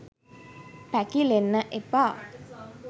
පැකිලෙන්න එපා.